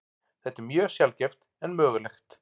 Þetta er mjög sjaldgæft en mögulegt.